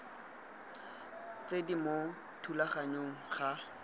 tse di mo thulaganyong ga